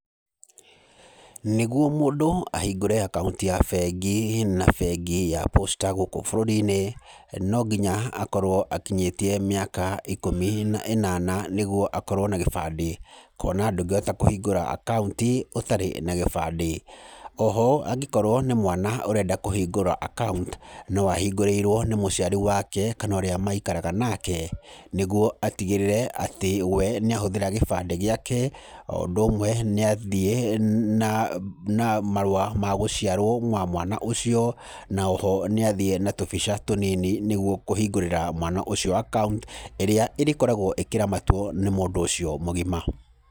Nĩguo mũndũ ahingũre akaunti ya bengi, na bengi ya Posta gũkũ bũrũri-inĩ, nonginya akorwo akinyĩtie mĩaka ikũmi na ĩnana nĩguo akorwo na gĩbandĩ, kuona ndũngĩhota kũhingũra akaunti ũtarĩ na gĩbandĩ, oho angĩkorwo nĩ mwana ũrenda kũhingũra akaunti, no ahingũrĩirwo nĩ mũciari wake, kana ũrĩa maikaraga nake, nĩguo atigĩrĩre atĩ we nĩ ahũthĩra gĩbandĩ gĩake, oũndũ ũmwe nĩ athiĩ na na marũa magũciarwo ma mwana ũcio, na oho nĩ athiĩ na tũbica tũnini nĩguo kũhingũrĩra mwana ũcio akaunti ĩrĩa ĩrĩkoragwo ĩkĩramatwo nĩ mũndũ ũcio mũgima.